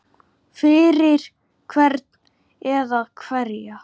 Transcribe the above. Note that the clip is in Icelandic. Fyrir hvern eða hverja?